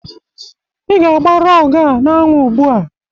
Ị ga-agba rọg a n'anwụ ugbu a!